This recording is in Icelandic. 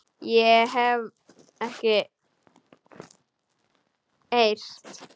Það hef ég ekki heyrt.